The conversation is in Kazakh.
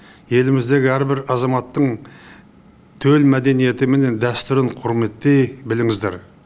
еліміздегі әрбір азаматтың төл мәдениеті мен дәстүрін құрметтей біліңіздер